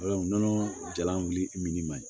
nɔnɔ jalan ma ɲi